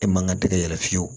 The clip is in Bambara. E man ka tɛgɛ yɛrɛ fiyewu